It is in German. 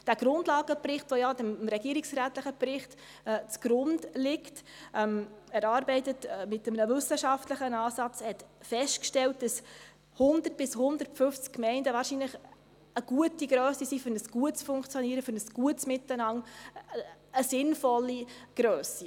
Der Grundlagenbericht, dem ja der regierungsrätliche Bericht zugrunde liegt, wurde mit einem wissenschaftlichen Ansatz erarbeitet und hat festgestellt, dass 100 oder 150 Gemeinden wahrscheinlich eine gute Grösse für ein gutes Funktionieren, für ein gutes Miteinander ist – eine sinnvolle Grösse.